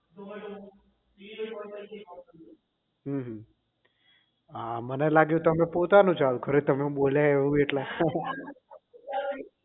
હમ હા મને લાગ્યું તમે પોતાનું ચાલુ કર્યું તમે બોલ્યા એવું એટલે